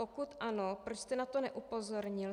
Pokud ano, proč jste na to neupozornil?